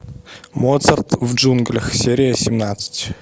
моцарт в джунглях серия семнадцать